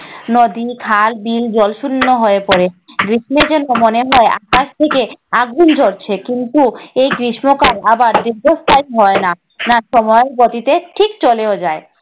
নদী, খাল-বিল জলশূন্য হয়ে পড়ে। গ্রীষ্ম মনে হয় আকাশ থেকে আগুন ঝরছে। কিন্তু এই গ্রীষ্মকাল আবার দীর্ঘস্থায়ী হয় না। সময়ের গতিতে ঠিক চলেও যায়।